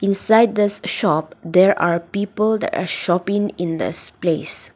beside thus shop there are people a shopping in this place.